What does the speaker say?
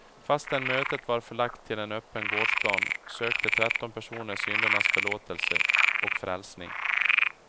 Fastän mötet var förlagt till en öppen gårdsplan sökte tretton personer syndernas förlåtelse och frälsning.